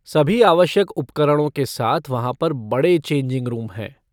सभी आवश्यक उपकरणों के साथ वहाँ पर बड़े चेंजिंग रूम हैं।